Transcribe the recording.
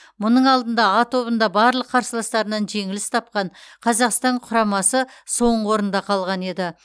мұның алдында а тобында барлық қарсыластарынан жеңіліс тапқан қазақстан құрамасы соңғы орында қалған еді